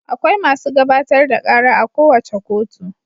Akwai masu gabatar da ƙara a kowace kotu.